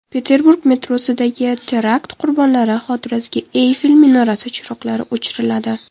Peterburg metrosidagi terakt qurbonlari xotirasiga Eyfel minorasi chiroqlari o‘chiriladi.